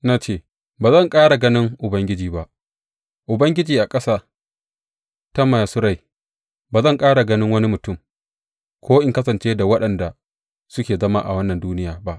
Na ce, Ba zan ƙara ganin Ubangiji ba, Ubangiji a ƙasa ta masu rai; ba zan ƙara ga wani mutum, ko in kasance tare da waɗanda suke zama a wannan duniya ba.